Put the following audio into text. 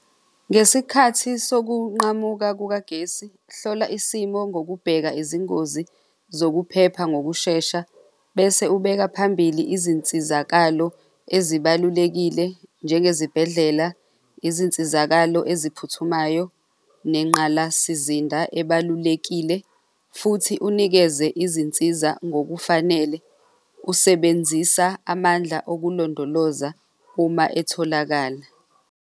Ngesikhathi sokunqamuka kukagesi, hlola isimo ngokubheka izingozi zokuphepha ngokushesha bese ubeka phambili izinsizakalo ezibalulekile njengezibhedlela, izinsizakalo eziphuthumayo nengqalasizinda ebalulekile futhi unikeze izinsiza ngokufanele, usebenzisa amandla okulondoloza uma etholakala.